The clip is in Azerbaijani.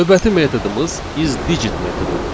Növbəti metodumuz is digit metodudur.